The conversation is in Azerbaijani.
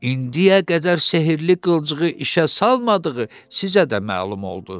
İndiyə qədər sehrli qılıncığı işə salmadığı sizə də məlum oldu.